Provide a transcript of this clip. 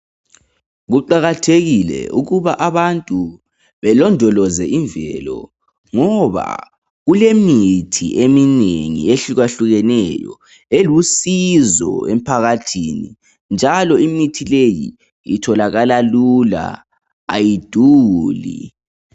Kuqakathekile ukuthi abantu belondoloze imvelo ngoba kulemithi eminengi ehlukahlukeneyo elusizo emphakathini njalo imithi leyi itholakala lula, ayiduli.